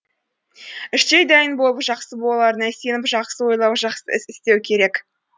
іштей дайын болып жақсы боларына сеніп жақсы ойлау жақсы іс істеу керек